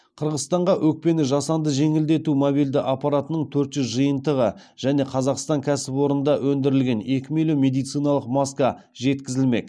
қырғызстанға өкпені жасанды жеңілдету мобильді аппараттарының төрт жүз жиынтығы және қазақстан кәсіпорында өндірілген екі миллион медициналық маска жеткізілмек